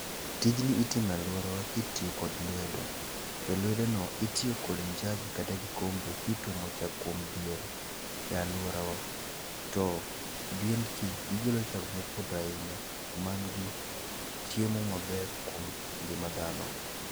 Tijni itimo e aluorawa kitiyo kod lwedo to lwedono itiyo kod njagi kata kikombe kituomo chak kuom diel e aluorawa to diengi gigolo chak mopoto ahinya man gi chiemo maber kuom ngima dhano.